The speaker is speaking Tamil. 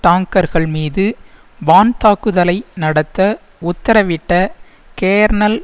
டாங்கர்கள் மீது வான் தாக்குதலை நடத்த உத்தரவிட்ட கேர்னல்